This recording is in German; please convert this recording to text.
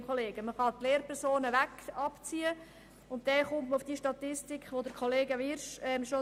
Man kann die Lehrpersonen schon einmal ausklammern.